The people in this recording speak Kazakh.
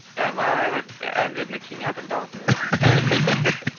иә барлық әндеріне келмейатыр дауысым